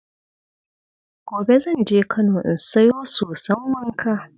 Gobe zan je Kano in sayo soson wanka.